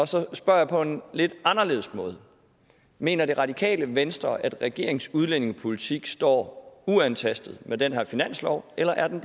så spørger jeg på en lidt anderledes måde mener det radikale venstre at regeringens udlændingepolitik står uantastet med den her finanslov eller er den